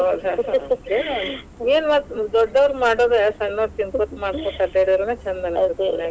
ಏನ್ ಮತ್ ದೋಡ್ಡೋರ್ ಮಾಡೋದ, ಸಣ್ಣೋರ ತಿನ್ಕೋತ್, ಮಾಡ್ಕೋತ್, ಅಡ್ಯಾಡಿದರನ ಛಂದ .